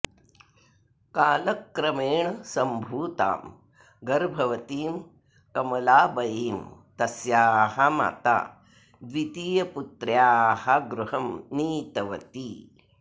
कालक्रमेण सम्भूतां गर्भवतीं कमलाबयीं तस्याः माता द्वितीयपुत्र्याः गृहं नीतवती